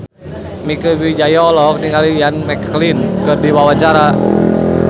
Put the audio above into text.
Mieke Wijaya olohok ningali Ian McKellen keur diwawancara